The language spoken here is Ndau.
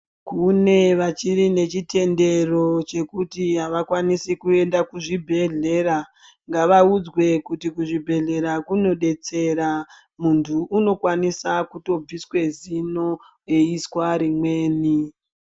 Kune vachiri nechitendero chekuti avakwanisi kuenda kuzvibhedhlera. Ngavaudzwe kuti kuzvibhedhlera kunodetsera. Muntu unokwanisa kutobviswe, zino eiiswa rimweni.